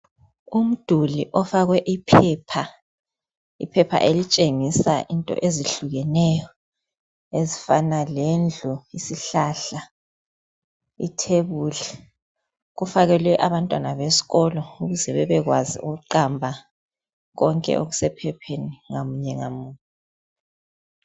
Umduli owafakwe iphepha elitshengisa izinto ezehlukeneyo ezifana lendlu isihlahla ithebuli kufakelwe abantwana besikolo ukuze bebekwazi ukubala okusephepheni ngamunye ngamunye